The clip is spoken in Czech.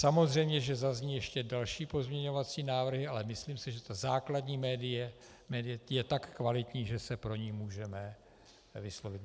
Samozřejmě že zazní ještě další pozměňovací návrhy, ale myslím si, že ta základní médie je tak kvalitní, že se pro ni můžeme vyslovit.